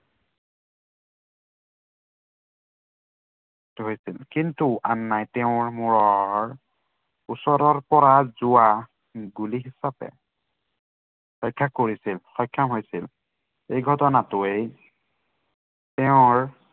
জড়িত হৈছিল। কিন্তু আন্নাই তেওঁৰ মূৰৰ ওচৰৰ পৰা যোৱা, গুলীৰ বাবে ৰক্ষা পৰিছিল। সক্ষম হৈছিল। এই ঘটনাটোৱে তেওঁৰ